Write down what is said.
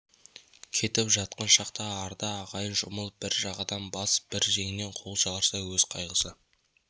кетіп жатқан шақта арда ағайын жұмылып бір жағадан бас бір жеңнен қол шығарса өз қайғысы